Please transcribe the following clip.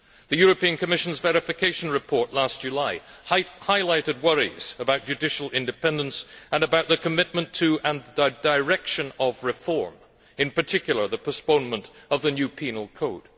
The European Commission's verification report last July highlighted worries about judicial independence and about the commitment to and direction of reform, in particular the postponement of the new penal code.